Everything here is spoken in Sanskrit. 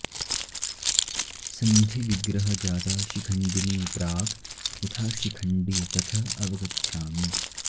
सन्धि विग्रह जाता शिखण्डिनी प्राक् यथा शिखण्डि तथ अवगच्छामि